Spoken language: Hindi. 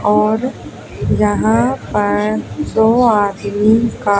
और यहां पर दो आदमी का--